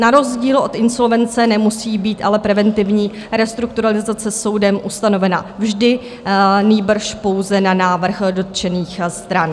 Na rozdíl od insolvence nemusí být ale preventivní restrukturalizace soudem ustanovena vždy, nýbrž pouze na návrh dotčených stran.